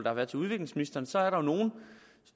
har været til udviklingsministeren så er der nogle